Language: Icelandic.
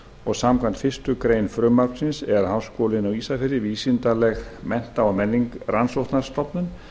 og samkvæmt fyrstu grein frumvarpsins er háskólinn á ísafirði vísindaleg mennta og rannsóknastofnun